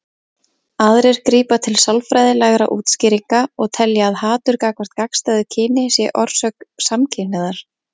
Aðrir grípa til sálfræðilegra útskýringa og telja að hatur gagnvart gagnstæðu kyni sé orsök samkynhneigðar.